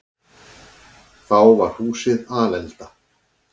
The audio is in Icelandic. Þá var húsið alelda.